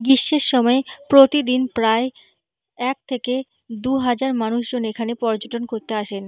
গ্রীষ্মের সময় প্রতিদিন প্রায় এক থেকে দুহাজার মানুষজন এখানে পর্যটন করতে আসেন।